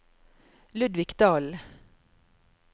Ludvig Dahlen